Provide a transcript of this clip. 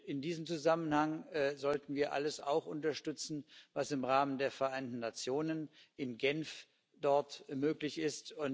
In diesem Zusammenhang sollten wir auch alles unterstützen, was im Rahmen der Vereinten Nationen in Genf möglich ist.